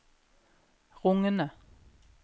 rungende